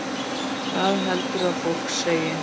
Hvað heldurðu að fólk segi?